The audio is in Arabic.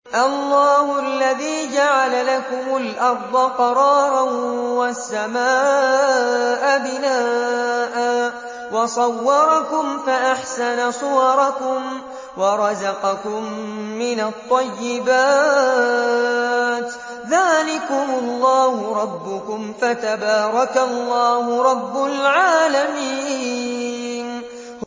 اللَّهُ الَّذِي جَعَلَ لَكُمُ الْأَرْضَ قَرَارًا وَالسَّمَاءَ بِنَاءً وَصَوَّرَكُمْ فَأَحْسَنَ صُوَرَكُمْ وَرَزَقَكُم مِّنَ الطَّيِّبَاتِ ۚ ذَٰلِكُمُ اللَّهُ رَبُّكُمْ ۖ فَتَبَارَكَ اللَّهُ رَبُّ الْعَالَمِينَ